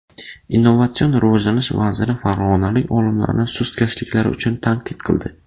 Innovatsion rivojlanish vaziri farg‘onalik olimlarni sustkashliklari uchun tanqid qildi.